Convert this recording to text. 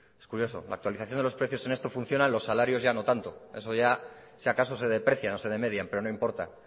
es curioso la actualización de los precios en esto funciona en los salarios ya no tanto eso ya si acaso se deprecian o se demedian pero no importa